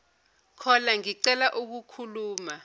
caller ngicela ukukhuluma